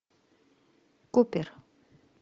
купер